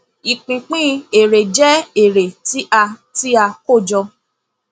ìpínpín èrè jẹ èrè tí a tí a kó jọ